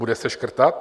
Bude se škrtat?